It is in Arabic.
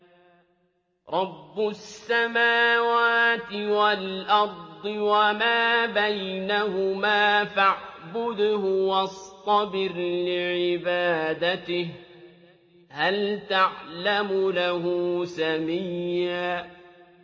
رَّبُّ السَّمَاوَاتِ وَالْأَرْضِ وَمَا بَيْنَهُمَا فَاعْبُدْهُ وَاصْطَبِرْ لِعِبَادَتِهِ ۚ هَلْ تَعْلَمُ لَهُ سَمِيًّا